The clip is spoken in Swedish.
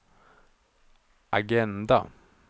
agenda